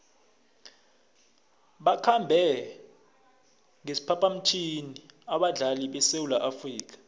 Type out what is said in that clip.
bakhambe ngesiphaphamtjhini abadlali besewula afrika